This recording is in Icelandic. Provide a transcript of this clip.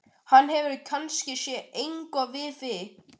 Hann hefur kannski séð eitthvað við þig!